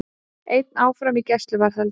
Einn áfram í gæsluvarðhaldi